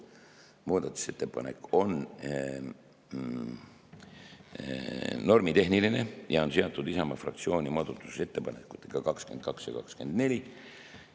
Muudatusettepanek on normitehniline ja on seotud Isamaa fraktsiooni muudatusettepanekutega 22 ja 24.